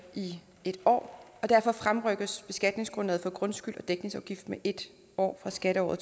i en år og derfor fremrykkes beskatningsgrundlaget for grundskyld og dækningsafgift med en år fra skatteåret